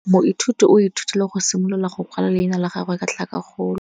Moithuti o ithutile go simolola go kwala leina la gagwe ka tlhakakgolo.